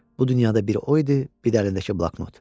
Bu dünyada bir o idi, bir də əlindəki bloknot.